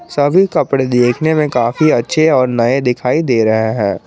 सभी कपड़े देखने में काफी अच्छे और नए दिखाई दे रहे हैं।